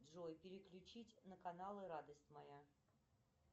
джой переключить на каналы радость моя